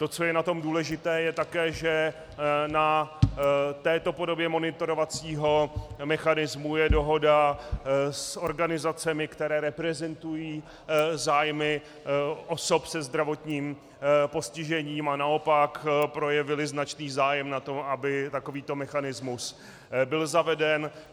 To, co je na tom důležité je také, že na této podobě monitorovacího mechanismu je dohoda s organizacemi, které reprezentují zájmy osob se zdravotním postižením a naopak projevily značný zájem na tom, aby takovýto mechanismus byl zaveden.